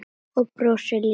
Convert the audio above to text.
Og brosti líka.